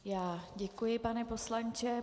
Já děkuji, pane poslanče.